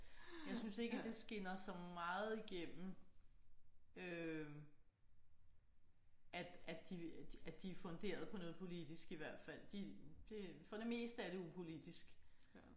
Jeg synes ikke at det skinner så meget igennem øh at at de at de funderet på noget politisk i hvert fald. De for det meste er det upolitisk